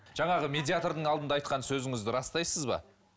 жаңағы медиатрдың алдында айтқан сөзіңізді растайсыз ба